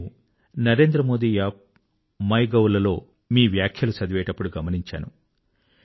నేను Narendra Modi up MyGov లలో మీ వ్యాఖ్యలు చదివేటప్పుడు గమనించాను